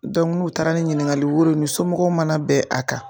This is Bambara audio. Dɔnku n'u taara ni ɲininkali woro ye u ni somɔgɔw mana bɛn a kan